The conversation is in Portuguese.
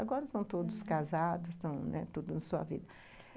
Agora, aham, estão todos casados, estão, né, tudo na sua vida.